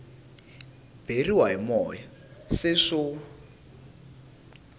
beriwa hi moya se swo